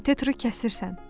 Kateteri kəsirsən.